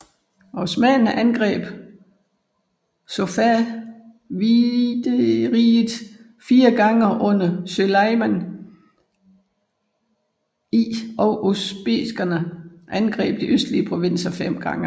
Osmannerne angreb Safavideriget fire gange under Suleimān I og usbekerne angreb de østlige provinser fem gange